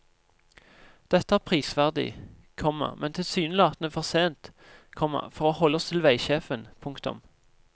Dette er prisverdig, komma men tilsynelatende for sent, komma for å holde oss til veisjefen. punktum